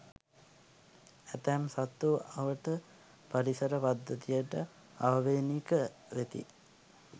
ඇතැම් සත්තු අවට පරිසර පද්ධතියට ආවේණික වෙති.